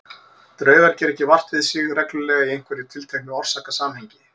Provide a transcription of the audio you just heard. Draugar gera ekki vart við sig reglulega í einhverju tilteknu orsakasamhengi.